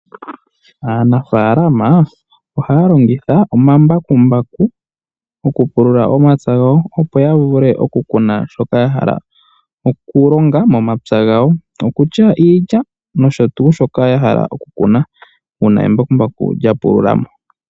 Aanafaalama ohaya longitha omambakumbaku okupulula omapya gawo opo yavule okukuna shoka yahala, okulonga momapya gawo, okutya iilya noshotuu shoka yahala okukuna uuna embakumbaku lyamana okupulula.